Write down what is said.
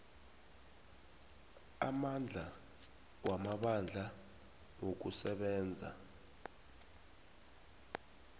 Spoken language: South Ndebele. amandla wamabandla wokusebenza